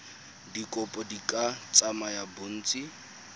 dikopo di ka tsaya bontsi